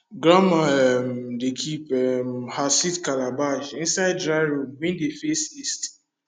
grandma um dey keep um her seed calabash inside dry room wey dey face east